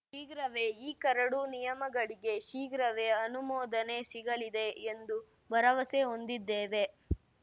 ಶೀಘ್ರವೇ ಈ ಕರಡು ನಿಯಮಗಳಿಗೆ ಶೀಘ್ರವೇ ಅನುಮೋದನೆ ಸಿಗಲಿದೆ ಎಂದು ಭರವಸೆ ಹೊಂದಿದ್ದೇವೆ